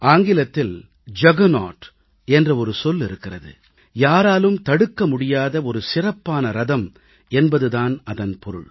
ஆங்கிலத்தில் juggernaut juggernaut என்ற ஒரு சொல் இருக்கிறது யாராலும் தடுக்க முடியாத சிறப்பான ரதம் என்பது தான் அதன் பொருள்